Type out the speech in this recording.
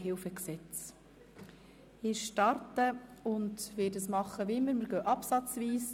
Wir beraten die Vorlage artikel- und absatzweise.